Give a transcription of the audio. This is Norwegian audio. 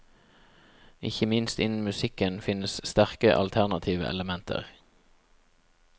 Ikke minst innen musikken finnes sterke, alternative elementer.